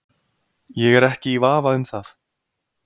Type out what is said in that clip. Ég er ekki í vafa um það.